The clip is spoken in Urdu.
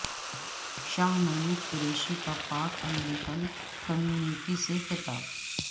شاہ محمود قریشی کا پاک امریکن کمیونٹی سے خطاب